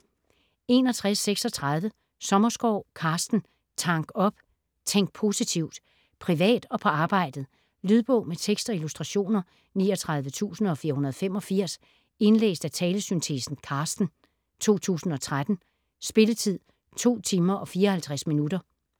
61.36 Sommerskov, Carsten: Tank op - tænk positivt Privat og på arbejdet. Lydbog med tekst og illustrationer 39485 Indlæst af talesyntesen Carsten, 2013. Spilletid: 2 timer, 54 minutter.